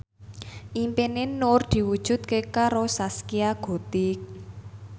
impine Nur diwujudke karo Zaskia Gotik